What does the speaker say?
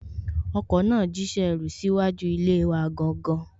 Ọkọ náà jíṣẹ́ ẹrú síwájú ilé wa gangan